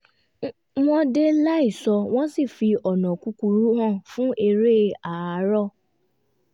wọ́n dé láìsọ wọ́n sì fi ọ̀nà kúkúrú hàn fún eré àárọ̀